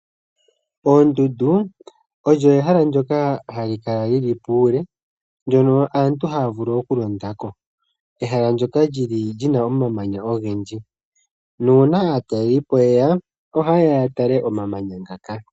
Oondundu olyo ehala ndyoka hali kala li li puule ndyono aantu haya vulu okulonda ko. Ehala ndyoka li li na omamanya ogendji nuuna aatalelipo ye ya ohaye ya ya tale omamanya ngaka.